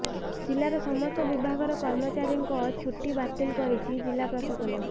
ଜିଲ୍ଲାର ସମସ୍ତ ବିଭାଗର କର୍ମଚାରୀଙ୍କ ଛୁଟି ବାତିଲ କରିଛି ଜିଲ୍ଲାପ୍ରଶାସନ